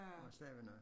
Stavene